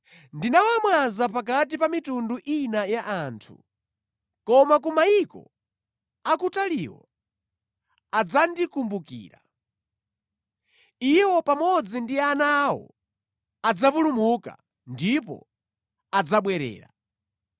Ndinawamwaza pakati pa mitundu ina ya anthu, koma ku mayiko akutaliwo adzandikumbukira. Iwo pamodzi ndi ana awo adzapulumuka, ndipo adzabwerera.